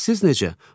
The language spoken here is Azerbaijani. Bəs siz necə?